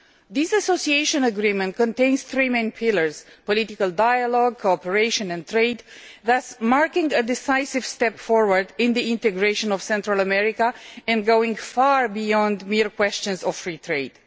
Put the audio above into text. This Association Agreement contains three main pillars political dialogue, cooperation and trade thus marking a decisive step forwards in the integration of Central America and going far beyond mere questions of free trade.